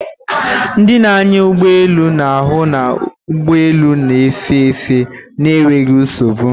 Ndị na-anya ụgbọ elu na-ahụ na ụgbọ elu na-efe efe na enweghị nsogbu